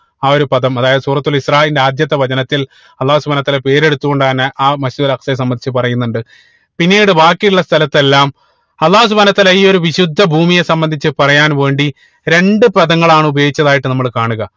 ആ ഒരു പദം അതായത് സൂറത്തുൽ ഇസ്രാഈൽന്റെ ആദ്യത്തെ വചനത്തിൽ അള്ളാഹു സുബ്‌ഹാനഉ വതാല പേരെടുത്തു കൊണ്ട് തന്നെ ആഹ് Masjid ഉൽ അക്സയെ സംബന്ധിച്ച് പറയുന്നുണ്ട് പിന്നീട് ബാക്കി ഉള്ള സ്ഥലത്തെല്ലാം അള്ളാഹു സുബ്‌ഹാനഉ വതാല ഈ ഒരു വിശുദ്ധ ഭൂമിയെ സംബന്ധിച്ച് പറയാൻ വേണ്ടി രണ്ട്‌ പദങ്ങളാണ് ഉപയോഗിച്ചതായിട്ട് നമ്മള് കാണുക